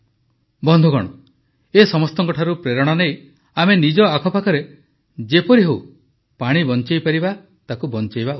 ବନ୍ଧୁଗଣ ଏହି ସଭିଙ୍କଠାରୁ ପ୍ରେରଣା ନେଇ ଆମେ ନିଜ ଆଖପାଖରେ ଯେପରି ହେଉ ପାଣି ବଞ୍ଚାଇପାରିବା ବଞ୍ଚାଇବା ଉଚିତ